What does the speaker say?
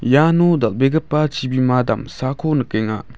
iano dal·begipa chibima damsako nikenga.